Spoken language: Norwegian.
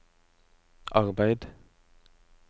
arbeid